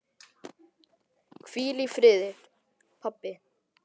Hvíl í friði, pabbi.